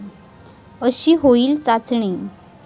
अशी होईल चाचणी